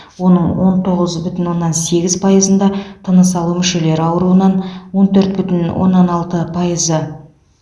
оның он тоғыз бүтін оннан сегіз пайызында тыныс алу мүшелері ауруынан он төрт бүтін оннан алты пайызы